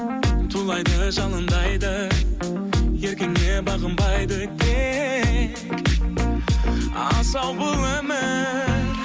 тулайды жалындайды еркіңе бағынбайды тек асау бұл өмір